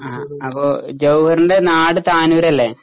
ആ അപ്പൊ ജവഹർൻ്റെ നാട് താനൂരല്ലേ?